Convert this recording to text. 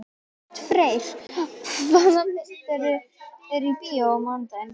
Oddfreyr, hvaða myndir eru í bíó á mánudaginn?